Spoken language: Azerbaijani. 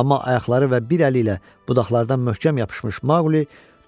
Amma ayaqları və bir əli ilə budaqlardan möhkəm yapışmış Maquli